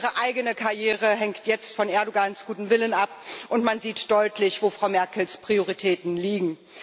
Ihre eigene Karriere hängt jetzt von Erdoğans gutem Willen ab. Man sieht deutlich, wo Frau Merkels Prioritäten liegen.